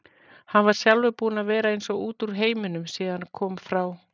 Hann sjálfur búinn að vera eins og út úr heiminum síðan hann kom frá